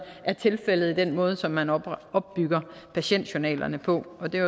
er tilfældet i den måde som man opbygger patientjournalerne på og det er